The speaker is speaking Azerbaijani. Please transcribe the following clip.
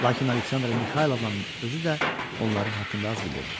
Lakin Aleksandra Mixaylovna özü də onların haqqında az bilirdi.